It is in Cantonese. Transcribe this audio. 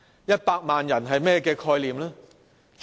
一百萬人是甚麼概念呢？